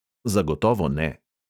Zagotovo ne.